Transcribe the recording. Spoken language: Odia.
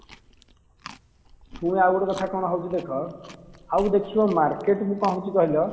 ଆଉ ଗୋଟେ କଥା କଣ ହଉଚି ଦେଖ ଆଉ ଦେଖିବ market କୁ କଣ ହଉଚି କହିଲ